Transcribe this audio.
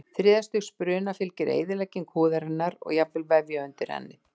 Þriðja stigs bruna fylgir eyðilegging húðarinnar og jafnvel vefja undir henni.